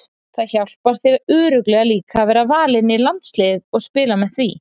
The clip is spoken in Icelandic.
Það hjálpar þér örugglega líka að vera valinn í landsliðið og spila með því?